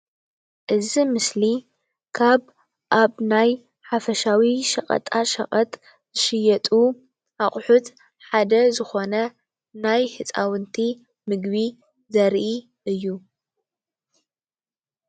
እዚ ምስሊ ካብ ኣብ ናይ ሓፈሻዊ ሸቀጣ ሸቀጥ ዝሽየጡ ኣቁሑት ሓደ ዝኾነ ናይ ህፃውንቲ ምግቢ ዘርኢ እዩ፡፡